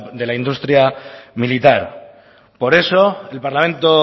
de la industria militar por eso el parlamento